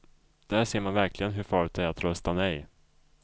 Där ser man verkligen hur farligt det är att rösta nej.